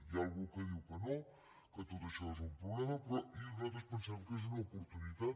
hi ha algú que diu que no que tot això és un problema però nosaltres pensem que és una oportunitat